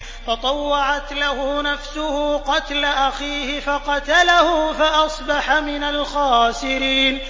فَطَوَّعَتْ لَهُ نَفْسُهُ قَتْلَ أَخِيهِ فَقَتَلَهُ فَأَصْبَحَ مِنَ الْخَاسِرِينَ